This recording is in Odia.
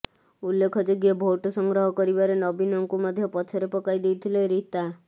ଉଲ୍ଲେଖଯୋଗ୍ୟ ଭୋଟ ସଂଗ୍ରହ କରିବାରେ ନବୀନଙ୍କୁ ମଧ୍ୟ ପଛରେ ପକାଇ ଦେଇଥିଲେ ରୀତା